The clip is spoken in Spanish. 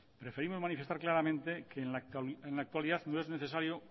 preferimos manifestar claramente que en la actualidad no es necesario